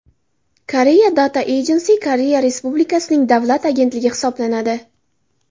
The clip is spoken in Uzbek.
Korea Data Agency Koreya Respublikasining davlat agentligi hisoblanadi.